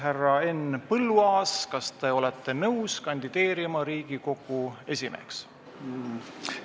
Härra Henn Põlluaas, kas te olete nõus kandideerima Riigikogu esimeheks?